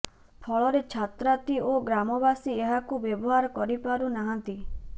ଫଳରେ ଛାତ୍ରାତ୍ରୀ ଓ ଗ୍ରାମବାସୀ ଏହାକୁ ବ୍ୟବହାର କରିପାରୁ ନାହାଁନ୍ତି